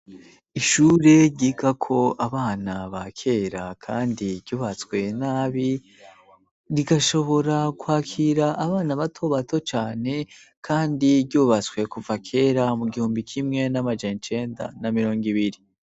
Ishure rigako abana bakera kandi ryubatswe nabi, rigashobora kwakira abana bato bato cane, kandi ryubatswe kuva kera mu gihumbi kimwe n'amajencenda n'amirongo ibiri.